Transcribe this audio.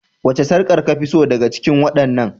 Wace sarƙar kafi so daga cikin waɗannan?